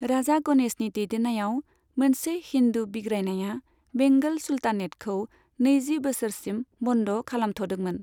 राजा गणेशनि दैदेन्नायाव मोनसे हिन्दू बिग्रायनाया बेंगल सुल्तानेतखौ नैजि बोसोरसिम बन्द खालामथ'दोंमोन।